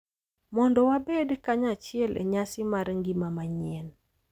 Mondo wabed kanyachiel e nyasi mar ngima manyien.